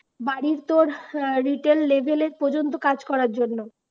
বাড়ি তোর হ্যাঁ retail level এর পর্যন্ত কাজ করার জন্য